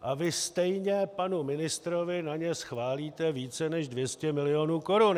A vy stejně panu ministrovi na ně schválíte více než 200 mil. korun.